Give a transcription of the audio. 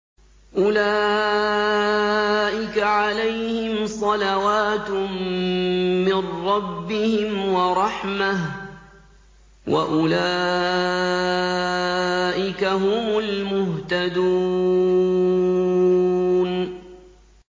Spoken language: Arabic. أُولَٰئِكَ عَلَيْهِمْ صَلَوَاتٌ مِّن رَّبِّهِمْ وَرَحْمَةٌ ۖ وَأُولَٰئِكَ هُمُ الْمُهْتَدُونَ